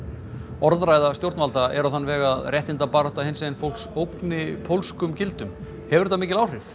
orðræða stjórnvalda er á þann veg að réttindabarátta hinsegin fólks ógni pólskum gildum hefur þetta mikil áhrif